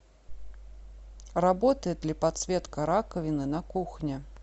работает ли подсветка раковины на кухне